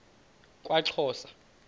kwaxhosa